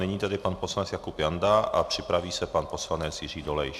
Nyní tedy pan poslanec Jakub Janda a připraví se pan poslanec Jiří Dolejš.